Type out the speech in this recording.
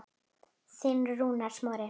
Þinn, Rúnar Smári.